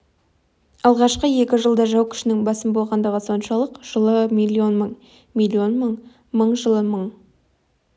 алғашқы екі жылда жау күшінің басым болғандығы соншалық жылы миллион мың миллион мың мың жылы мың